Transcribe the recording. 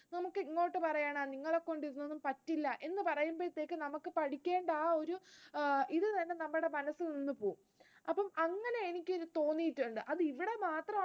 നമുക്ക് ഇങ്ങോട്ട് പറയാനാ നിങ്ങളെ കൊണ്ട് ഇതൊന്നും പറ്റില്ല, എന്ന് പറയുമ്പോഴേതെക്കും നമുക്ക് പഠിക്കേണ്ട ആ ഒരു ഇതുതന്നെ നമ്മുടെ മനസ്സിൽ നിന്ന് പോകും. അപ്പോ അങ്ങനെ എനിക്ക് തോന്നിയിട്ടുണ്ട്, അത് ഇവിടെ മാത്രമാണോ